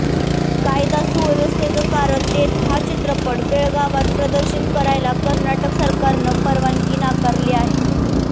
कायदा सुव्यवस्थेचं कारण देत हा चित्रपट बेळगावात प्रदर्शित करायला कर्नाटक सरकारनं परवानगी नाकारली आहे